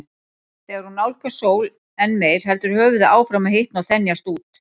Þegar hún nálgast sól enn meir heldur höfuðið áfram að hitna og þenjast út.